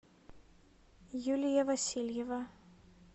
юлия васильева